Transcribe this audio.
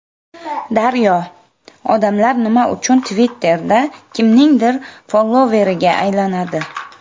Daryo: Odamlar nima uchun Twitter’da kimningdir followeriga aylanadi?